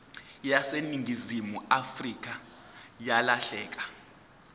yaseningizimu afrika yalahleka